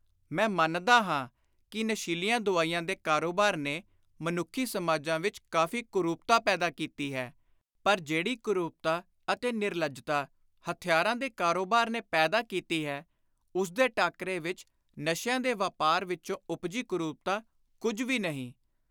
ਮੈਂ ਮੰਨਦਾ ਹਾਂ ਕਿ ਨਸ਼ੀਲੀਆਂ ਦੁਆਈਆਂ ਦੇ ਕਾਰੋਬਾਰ ਨੇ ਮਨੁੱਖੀ ਸਮਾਜਾਂ ਵਿਚ ਕਾਫ਼ੀ ਕੁਰੂਪਤਾ ਪੈਦਾ ਕੀਤੀ ਹੈ, ਪਰ ਜਿਹੜੀ ਕੁਰੂਪਤਾ ਅਤੇ ਨਿਰਲੱਜਤਾ ਹਥਿਆਰਾਂ ਦੇ ਕਾਰੋਬਾਰ ਨੇ ਪੈਦਾ ਕੀਤੀ ਹੈ ਉਸਦੇ ਟਾਕਰੇ ਵਿਚ ਨਸ਼ਿਆਂ ਦੇ ਵਾਪਾਰ ਵਿਚੋਂ ਉਪਜੀ ਕੁਰੁਪਤਾ ਕੁਝ ਵੀ ਨਹੀਂ।